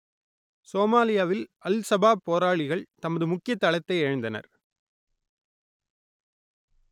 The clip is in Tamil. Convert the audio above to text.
சோமாலியாவில் அல் சபாப் போராளிகள் தமது முக்கிய தளத்தை இழந்தனர்